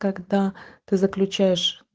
когда ты заключаешь